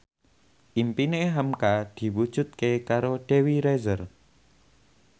impine hamka diwujudke karo Dewi Rezer